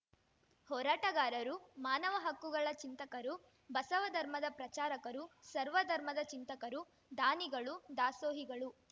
ಹೋರಾಟಗಾರರು ಮಾನವ ಹಕ್ಕುಗಳ ಚಿಂತಕರು ಬಸವ ಧರ್ಮದ ಪ್ರಚಾರಕರು ಸರ್ವ ಧರ್ಮದ ಚಿಂತಕರು ದಾನಿಗಳು ದಾಸೋಹಿಗಳು